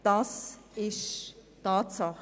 Das ist eine Tatsache.